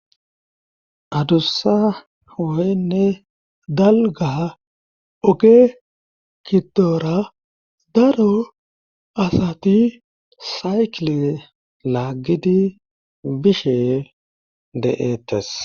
adussa woynne dalga oge kidoora daro asati saykle laaggidi bishe de7eettes